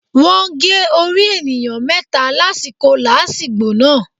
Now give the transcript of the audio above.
Wọ́n gé orí ènìyàn méta lásìkò làásìgbò náà